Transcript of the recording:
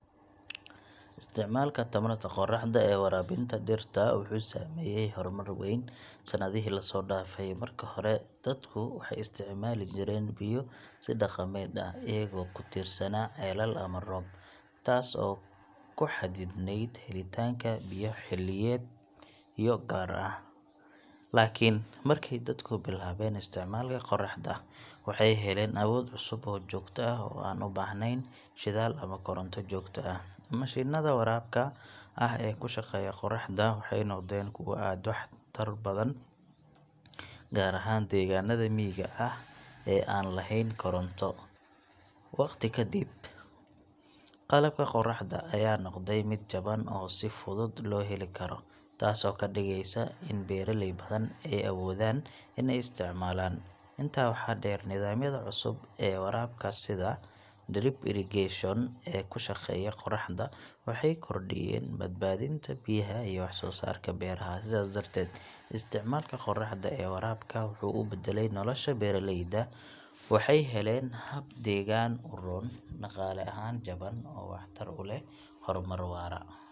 Isticmaalka tamarta qoraxda ee waraabinta dhirta wuxuu sameeyay horumar weyn sanadihii la soo dhaafay. Marka hore, dadku waxay isticmaali jireen biyo si dhaqameed ah, iyagoo ku tiirsanaa ceelal ama roob, taas oo ku xaddidnayd helitaanka biyo xilliyeedyo gaar ah. Laakiin markay dadku bilaabeen isticmaalka qoraxda, waxay heleen awood cusub oo joogto ah oo aan u baahnayn shidaal ama koronto joogto ah. Mashiinnada waraabka ah ee ku shaqeeya qoraxda waxay noqdeen kuwo aad u waxtar badan, gaar ahaan deegaanada miyiga ah ee aan lahayn koronto. Wakhti ka dib, qalabka qoraxda ayaa noqday mid jaban oo si fudud loo heli karo, taasoo ka dhigaysa in beeraley badan ay awoodaan inay isticmaalaan. Intaa waxaa dheer, nidaamyada cusub ee waraabka sida drip irrigation ee ku shaqeeya qoraxda waxay kordhiyeen badbaadinta biyaha iyo wax-soo-saarka beeraha. Sidaas darteed, isticmaalka qoraxda ee waraabka wuxuu u beddelay nolosha beeraleyda: waxay heleen hab deegaan u roon, dhaqaale ahaan jaban, oo waxtar u leh horumar waara.